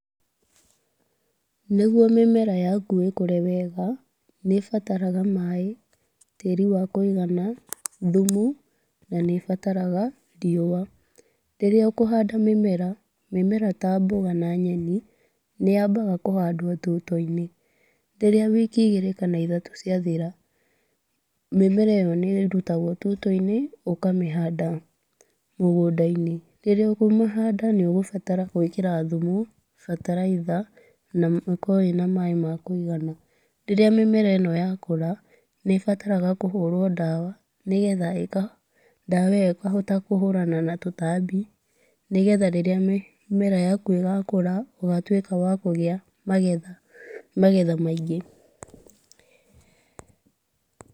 Nĩguo mĩmera yaku ĩkũre wega nĩ ĩbataraga maĩ, tĩri wa kũigana, thumu na nĩ ĩbataraga riũa. Rĩrĩa ũkũhanda mĩmera, mĩmera ta mboga na nyeni nĩ yambaga kũhandwo tũitoinĩ, rĩrĩa wiki ithatũ ciathira, mĩmera ĩyo nĩ ĩrũtagwo tũitoinĩ ũkamĩhanda mũgũndainĩ. Rĩrĩa ũkũmĩhanda ũgũbatara gũĩkĩra thumu bataraitha na ũkuorũo wĩ na maaĩ ma kũnyua. Rĩrĩa mĩmera ĩno yakũra nĩ ĩbataraga kũhũrwo dawa nĩgetha dawa ĩyo ĩkahota kũhũrana na tũtambi nĩgetha rĩrĩa mĩmera yakũ ĩgakũra ĩgatuĩka ya kũgĩa magetha maingĩ.